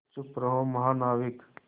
चुप रहो महानाविक